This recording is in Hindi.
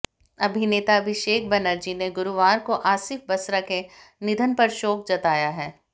अभिनेता अभिषेक बनर्जी ने गुरुवार को आसिफ बसरा के निधन पर शोक जताया है